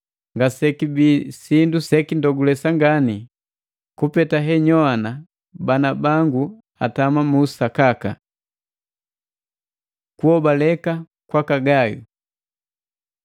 Ngasekibi sindu sekindogulesa nepani ngani kupeta henyowana bana bangu atama mu usakaka. Kuhobaleka kwaka Gayu